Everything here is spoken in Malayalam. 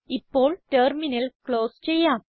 ഇപ്പോൾ ടെർമിനൽ ക്ലോസ് ചെയ്യാം